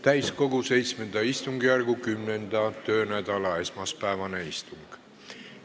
Täiskogu VII istungjärgu 10. töönädala esmaspäevane istung.